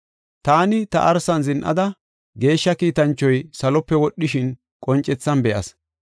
“Taani ta arsan zin7ada, geeshsha kiitanchoy salope wodhishin qoncethan be7as.